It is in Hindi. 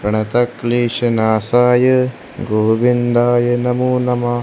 प्रणतकलीश नासाय गोविंदाय नमोह नमः।